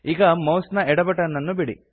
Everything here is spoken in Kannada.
ಈಗ ಮೌಸ್ ನ ಎಡ ಬಟನ್ ಅನ್ನು ಬಿಡಿ